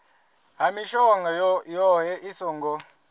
ha mishongo yohe i songo